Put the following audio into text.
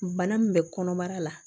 Bana min bɛ kɔnɔbara la